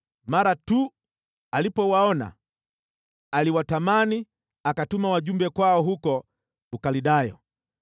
Mara tu alipowaona, aliwatamani, akatuma wajumbe kwao huko Ukaldayo.